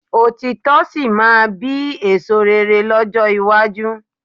Òtítọ́ sì máa bí èso rere lọ́jọ́ iwájú